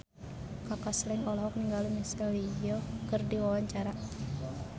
Kaka Slank olohok ningali Michelle Yeoh keur diwawancara